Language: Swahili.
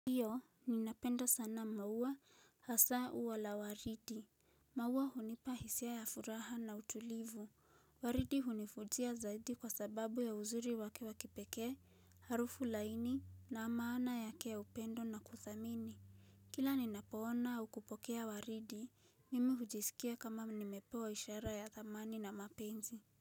Ndio, ninapenda sana maua hasa ua la waridi. Maua hunipa hisia ya furaha na utulivu. Waridi hunivutia zaidi kwa sababu ya uzuri wake wa kipeeke, harufu laini na maana yake ya upendo na kuthamini. Kila ninapoona au kupokea waridi, mimi hujisikia kama nimepewa ishara ya dhamani na mapenzi.